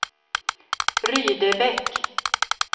Rydebäck